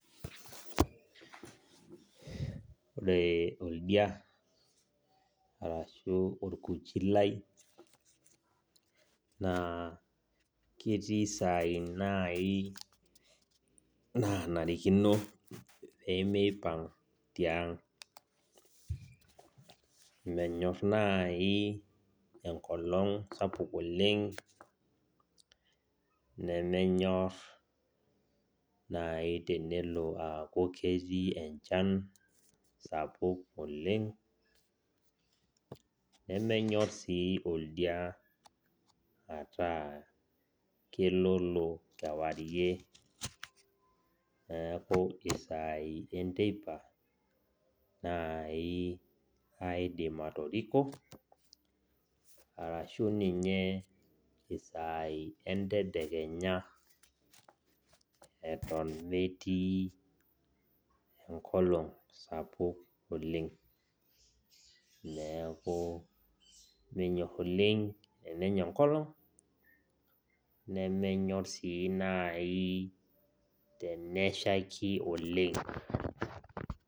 Ore oldia arashu orkuchi lai, naa ketii saai nai nanarikino pemeipang' tiang'. Menyor nai enkolong sapuk oleng, nemenyor nai tenelo aku ketii enchan sapuk oleng, nemenyor si oldia ataa keloolo kewarie, neeku isaai enteipa, nai aidim atoriko, arashu ninye isaai entedekenya eton metii enkolong sapuk oleng. Neeku menyor oleng enenya enkolong, nemenyor si nai teneshaiki oleng.